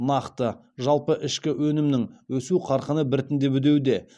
нақты жалпы ішкі өнімнің өсу қарқыны біртіндеп үдеуде